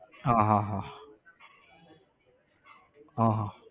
હા હા હા હા